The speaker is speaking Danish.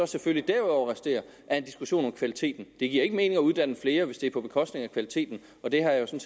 selvfølgelig derudover resterer er en diskussion om kvaliteten det giver ikke mening at uddanne flere hvis det er på bekostning af kvaliteten og det har jeg jo